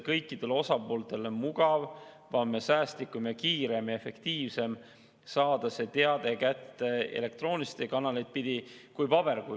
Kõikidele osapooltele on mugavam, säästlikum, kiirem ja seega efektiivsem viis saada teated kätte elektroonilisi kanaleid pidi mitte paberkujul.